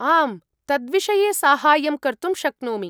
आम्, तद्विषये साहाय्यं कर्तुं शक्नोमि।